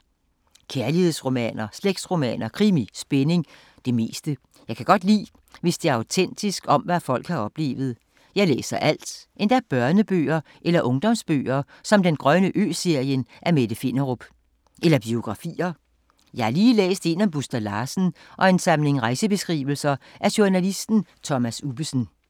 Kærlighedsromaner, slægtsromaner, krimi, spænding. Det meste. Jeg kan godt lide, hvis det er autentisk, om hvad folk har oplevet. Jeg læser alt. Endda børnebøger eller ungdomsbøger som Den grønne ø-serien af Mette Finderup. Eller biografier. Jeg har lige læst en om Buster Larsen og en samling rejsebeskrivelser af journalisten Thomas Ubbesen.